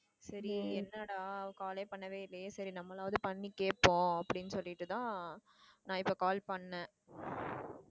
சரி என்னடா அவ call யே பண்ணவே இல்லையே சரி நாமளாவது பண்ணி கேப்போம் அப்படின்னு சொல்லிட்டுதான் நான் இப்போ call பண்ணேன்.